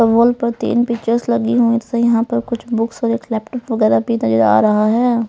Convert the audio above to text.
Wall पर तीन pictures लगी हुई यहां पर कुछ बुक्स और एक लैपटॉप वगैरह भी नजर आ रहा है.